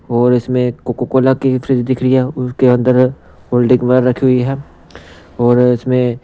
और इसमें कोको-कोला की ही फ्रिज दिख रही है उसके अंदर कोल्ड ड्रिंक वगेरह रखी हुई है और इसमें--